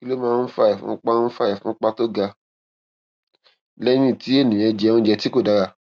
kí ló máa ń fa ìfúnpá ń fa ìfúnpá tó ga lẹyìn tí ènìyàn jẹ oúnjẹ tí kò dára